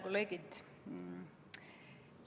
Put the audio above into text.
Kolleegid!